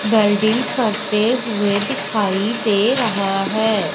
Welding करते हुए दिखाई दे रहा है।